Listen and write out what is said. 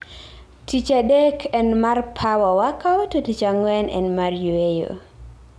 Tich adek en mar Power workout to tich ang'wen en mar Yweyo